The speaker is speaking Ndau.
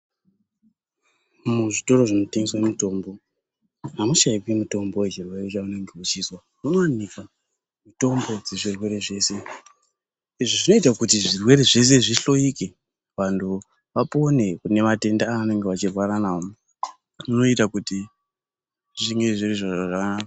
Muzvitoro zvinotengeswa mitombo hamushaikwi mitombo yechirwere chaunenge uchizwa munowanikwa mitombo yezvirwere zvese izvi zvinoita kuti zvirwere zvese zvihloike vantu vapore kune matenda avanenge vachirwara nawo zvoita kuti zvinge zviri zviro zvakanaka.